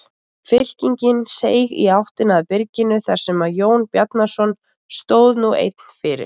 Fylkingin seig í áttina að byrginu þar sem Jón Bjarnason stóð nú einn fyrir.